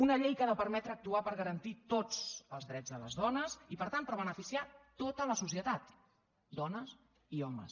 una llei que ha de permetre actuar per garantir tots els drets de les dones i per tant per beneficiar a tota la societat dones i homes